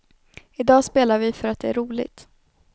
Idag spelar vi för att det är roligt.